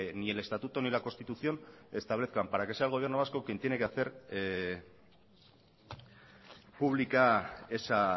ni el estatuto ni la constitución establezcan para que sea el gobierno vasco quien tiene que hacer pública esa